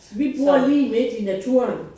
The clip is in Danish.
Vi bor lige midt i naturen